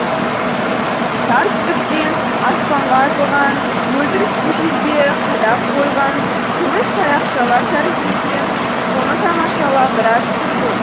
тар түтіктен аспанға атылған мөлдір су жерге қадап қойған күміс таяқшалар тәрізді екен соны тамашалап біраз тұрды